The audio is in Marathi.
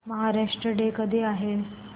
महाराष्ट्र डे कधी आहे